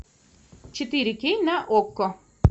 четыре кей на окко